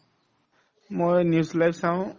মই news live চাওঁ